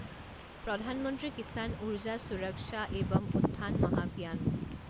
প্ৰধান মন্ত্ৰী কিচান উৰ্জা সুৰক্ষা এৱম উত্থান মহাভিয়ান